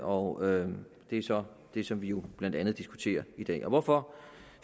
og det er så det som vi jo blandt andet diskuterer i dag hvorfor